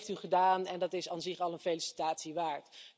Dat heeft u gedaan en dat is op zich al een felicitatie waard.